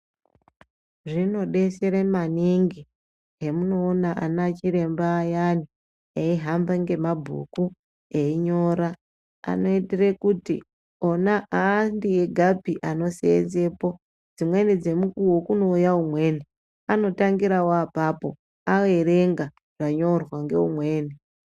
Zvinodesere maningi hemunoona ana chiremba ayani eihamba ngemabhuku einyora anoitire kuti ona andiegapi anoseenzepo dzimweni dzemukuwo kunouya umweni anotangirawo apapo aerenga zvanyorwawo ngeumweni.